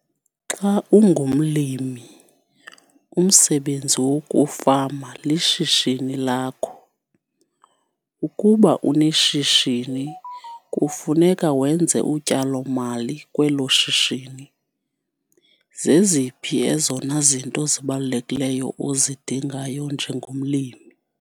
Xa ungumlimi, umsebenzi wokufama lishishini lakho. Ukuba uneshishini, kufuneka wenze utyalo-mali kwelo shishini. Zeziphi ezona zinto zibalulekileyo ozidingayo njengomlimi.